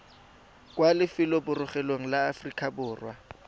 kwa lefelobogorogelong la aforika borwa